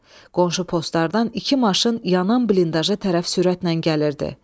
Qonşu postlardan iki maşın yanan blindaja tərəf sürətlə gəlirdi.